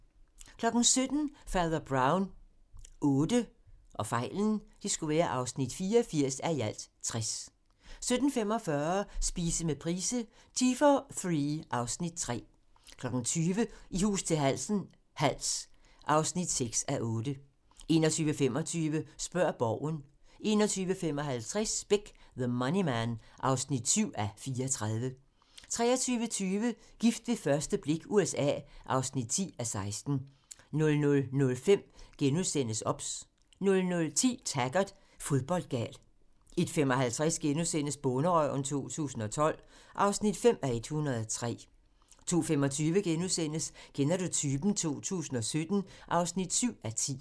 17:00: Fader Brown VIII (84:60) 17:45: Spise med Price - Tea for three (Afs. 3) 20:00: I hus til halsen - Hals (6:8) 21:25: Spørg Borgen 21:55: Beck: The Money Man (7:34) 23:20: Gift ved første blik USA II (10:16) 00:05: OBS * 00:10: Taggart: Fodboldgal 01:55: Bonderøven 2012 (5:103)* 02:25: Kender du typen? 2017 (7:10)*